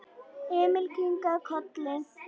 Emil kinkaði kolli.